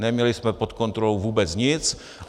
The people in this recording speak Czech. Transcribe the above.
Neměli jsme pod kontrolou vůbec nic.